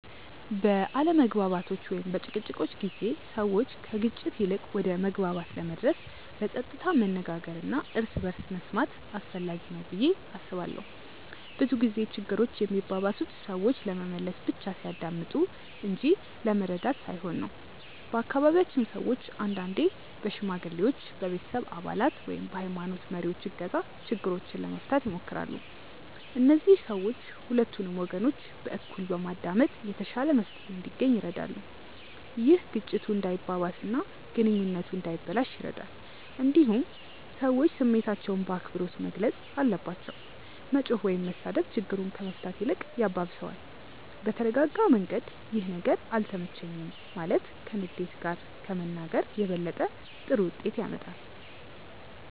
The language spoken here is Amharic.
በአለመግባባቶች ወይም በጭቅጭቆች ጊዜ ሰዎች ከግጭት ይልቅ ወደ መግባባት ለመድረስ በጸጥታ መነጋገር እና እርስ በርስ መስማት አስፈላጊ ነው ብዬ አስባለሁ። ብዙ ጊዜ ችግሮች የሚባባሱት ሰዎች ለመመለስ ብቻ ሲያዳምጡ እንጂ ለመረዳት ሳይሆን ነው። በአካባቢያችን ሰዎች አንዳንዴ በሽማግሌዎች፣ በቤተሰብ አባላት ወይም በሀይማኖት መሪዎች እገዛ ችግሮችን ለመፍታት ይሞክራሉ። እነዚህ ሰዎች ሁለቱንም ወገኖች በእኩል በማዳመጥ የተሻለ መፍትሄ እንዲገኝ ይረዳሉ። ይህ ግጭቱ እንዳይባባስ እና ግንኙነቱ እንዳይበላሽ ይረዳል። እንዲሁም ሰዎች ስሜታቸውን በአክብሮት መግለጽ አለባቸው። መጮህ ወይም መሳደብ ችግሩን ከመፍታት ይልቅ ያባብሰዋል። በተረጋጋ መንገድ “ይህ ነገር አልተመቸኝም” ማለት ከንዴት ጋር ከመናገር የበለጠ ጥሩ ውጤት ያመጣል።